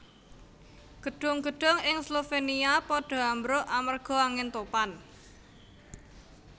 Gedung gedung ing Slovenia podo ambruk amarga angin topan